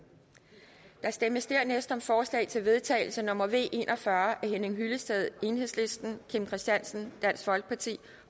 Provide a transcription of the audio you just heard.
der stemmes dernæst om forslag til vedtagelse nummer v en og fyrre af henning hyllested kim christiansen